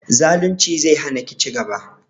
Zalunci zai hana ki ci gaba